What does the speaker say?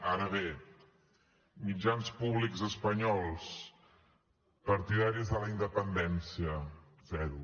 ara bé mitjans públics espanyols partidaris de la independència zero